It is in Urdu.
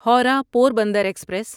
ہورہ پوربندر ایکسپریس